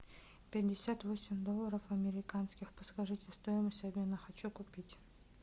пятьдесят восемь долларов американских подскажите стоимость обмена хочу купить